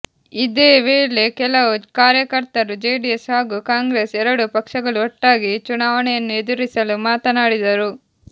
ಇದೇ ವೇಳೆ ಕೆಲವು ಕಾರ್ಯಕರ್ತರು ಜೆಡಿಎಸ್ ಹಾಗೂ ಕಾಂಗ್ರೆಸ್ ಎರಡೂ ಪಕ್ಷಗಳು ಒಟ್ಟಾಗಿ ಚುನಾವಣೆಯನ್ನು ಎದುರಿಸಲು ಮಾತನಾಡಿದರು